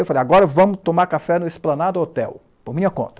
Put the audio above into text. Eu falei, agora vamos tomar café no Esplanado Hotel, por minha conta.